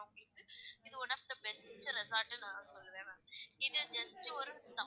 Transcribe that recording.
So one of the best resort டுன்னு நான் சொல்லுவேன் ma'am இது just ஒரு